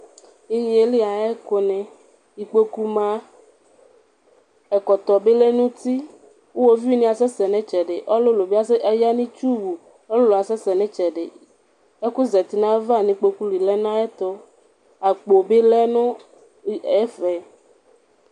Inyeli ayʋ ɛkʋni ikpokʋ ma, ɛkɔtɔ bi lɛnʋ uti, ʋwoviuni asɛsɛ nʋ itsɛdi Ɔlʋlʋ bi ayanʋ itiwʋ ɔlʋlʋ asɛsɛ nʋ itsɛdi Ɛkʋ zati nʋ ayʋ ava nʋ ikpokʋli lɛnʋ ayʋ ɛtʋ, akpo bi lɛnʋ ɛfɛ